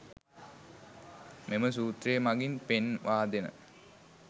මෙම සූත්‍රය මගින් පෙන්වාදෙන